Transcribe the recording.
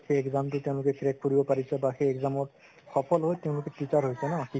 সেই exam crack কৰিব পাৰিছে বা সেই exam ৰ সফল হয় তেওঁলোকে teacher হৈছে ন